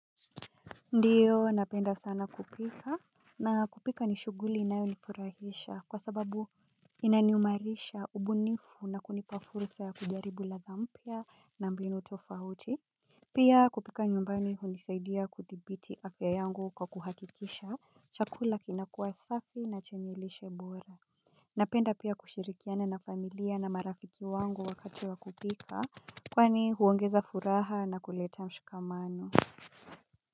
Ndiyo napenda sana kupika. Na kupika ni shughuli inayonifurahisha kwa sababu inaniumarisha ubunifu na kunipa fursa ya kujaribu ladha mpya na mbinu tofauti. Pia kupika nyumbani hunisaidia kuthibiti afya yangu kwa kuhakikisha chakula kinakuwa safi na chanye lishe bora. Napenda pia kushirikiana na familia na marafiki wangu wakati wa kupika. Kwani huongeza furaha na kuleta mshikamano.